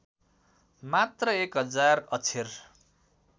मात्र १००० अक्षर